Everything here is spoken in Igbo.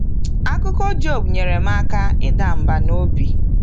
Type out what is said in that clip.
Akụkọ Job nyere m aka ịda mbà n’obi.